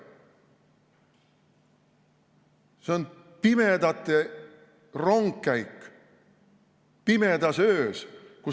See on pimedate rongkäik pimedas öös.